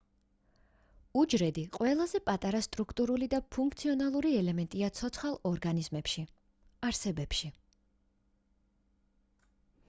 უჯრედი ყველაზე პატარა სტრუქტურული და ფუნქციონალური ელემენტია ცოცხალ ორგანიზმებში არსებებში